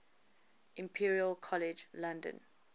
imperial college london